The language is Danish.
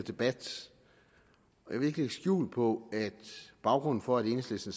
debat jeg vil ikke lægge skjul på at baggrunden for at enhedslisten